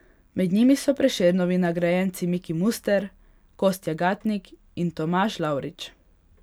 Med njimi so Prešernovi nagrajenci Miki Muster, Kostja Gatnik in Tomaž Lavrič.